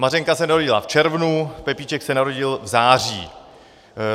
Mařenka se narodila v červnu, Pepíček se narodil v září.